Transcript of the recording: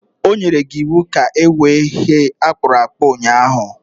O nyere gi iwu ka ewee ihe a kpụrụ akpụ ụnyahụ